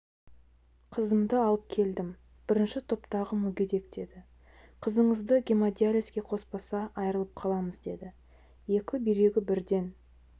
қызымды алып келдім бірінші топтағы мүгедек деді қызыңызды гемодиализге қоспаса айырылып қаламыз деді екі бүйрегі бірден